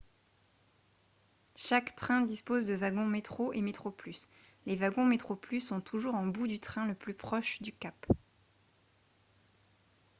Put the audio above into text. chaque train dispose de wagons metro et metroplus les wagons metroplus sont toujours en bout du train le plus proche du cap